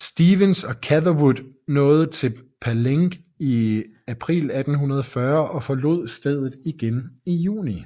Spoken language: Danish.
Stephens og Catherwood nåede til Palenque i april 1840 og forlod stedet igen i juni